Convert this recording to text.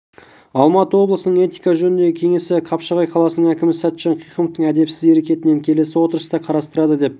алматы облысының этика жөніндегі кеңесі қапшағай қаласының әкімі сәтжан қиқымовтың әдепсіз әрекетін келесі отырыста қарастырады деп